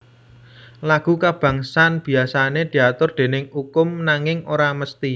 Lagu kabangsan biasané diatur déning ukum nanging ora mesthi